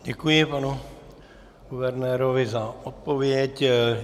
Děkuji panu guvernérovi za odpověď.